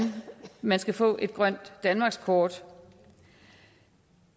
man skal få et grønt danmarkskort